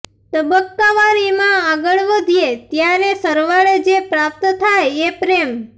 તબક્કાવાર એમાં આગળ વધીએ ત્યારે સરવાળે જે પ્રાપ્ત થાય એ પ્રેમ